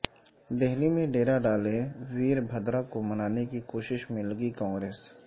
دہلی میں ڈیرا ڈالے ویربھدرا کو منانے کی کوشش میں لگی کانگریس